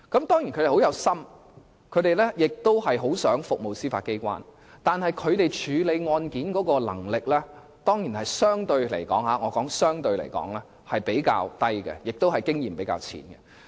當然，他們都是很有心及很想服務司法機構，但他們處理案件的能力卻可能相對較低，而經驗也較淺。